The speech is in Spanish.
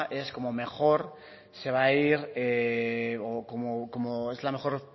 es como mejor se va a ir o que es la mejor